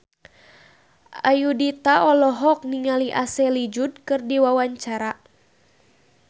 Ayudhita olohok ningali Ashley Judd keur diwawancara